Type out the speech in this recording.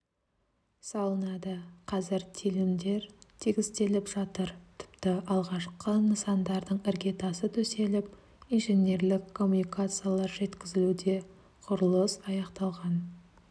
салынады қазір телімдер тегістеліп жатыр тіпті алғашқы нысандардың іргетасы төселіп инженерлік коммуникациялар жеткізілуде құрылыс аяқталған